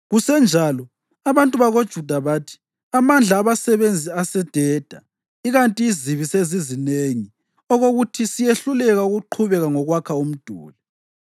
Kusenjalo, abantu bakoJuda bathi, “Amandla abasebenzi asededa, ikanti izibi zisezinengi okokuthi siyehluleka ukuqhubeka ngokwakha umduli.”